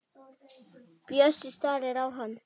Bjössi starir á hana.